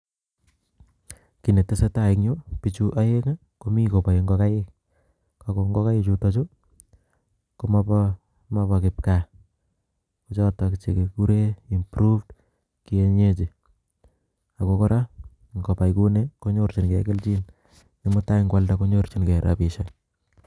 kiii netesetai eng yuu, bichuu aeng kobae ngogaik ago ngogaik chutachu ko mabaa kipkaa chuu ko[]cs improved[]cs]kienyeji ago koraa ngobai kouni konyorchin gei kelchin ne mutai kwalda konyorchingel rabishek